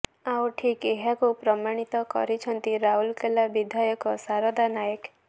ଆଉ ଠିକ୍ ଏହାକୁ ପ୍ରମାଣିତ କରିଛନ୍ତି ରାଉରକେଲା ବିଧାୟକ ସାରଦା ନାୟକ